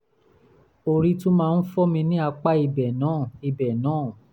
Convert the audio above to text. orí tún máa ń fọ́ mí ní apá ibẹ̀ náà ibẹ̀ náà